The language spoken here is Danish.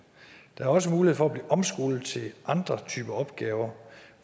der er også mulighed for at blive omskolet til andre typer opgaver